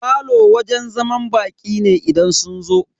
Falo wajen zaman baƙi ne idan sun zo.